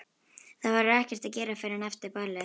Það verður ekkert að gera fyrr en eftir ball.